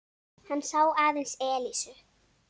Hann sá aðeins Elísu.